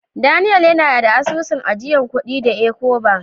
Daniel yana da asusun ajiyan kudi da " Ecobank".